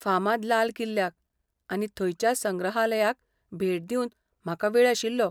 फामाद लाल किल्ल्याक, आनी थंयच्या संग्रहालयाक भेट दिवंक म्हाका वेळ आशिल्लो.